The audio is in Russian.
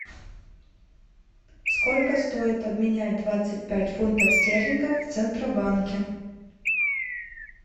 сколько стоит обменять двадцать пять фунтов стерлингов в центробанке